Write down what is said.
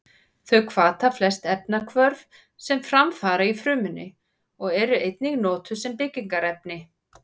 Þau hvata flest efnahvörf sem fram fara í frumunni og eru einnig notuð sem byggingarefni.